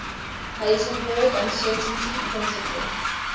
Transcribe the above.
heisenberg uncertainty principle